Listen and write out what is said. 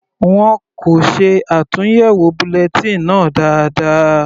Wọn kò ṣe àtúnyẹwò bulletin náà dáadáa.